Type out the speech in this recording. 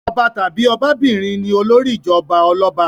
Ọba tàbí ọbabìnrin ni olórí ìjọba ọlọ́ba.